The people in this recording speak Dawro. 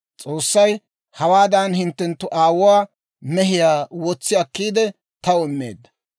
S'oossay hawaadan hinttenttu aawuwaa mehiyaa wotsi akkiidde taw immeedda.